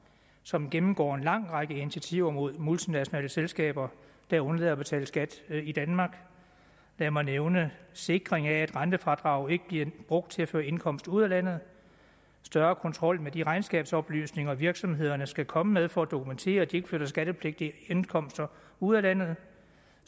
som gennemgår en lang række initiativer mod multinationale selskaber der undlader at betale skat i danmark lad mig nævne sikring af at rentefradraget ikke bliver brugt til at føre indkomst ud af landet større kontrol med de regnskabsoplysninger virksomhederne skal komme med for at dokumentere at de ikke flytter skattepligtige indkomster ud af landet